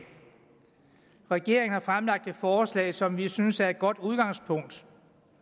regeringen har fremsat et forslag som vi synes er et godt udgangspunkt